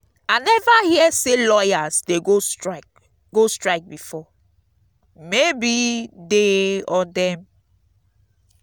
i never hear say lawyers dey go strike go strike before. maybe dey or dem.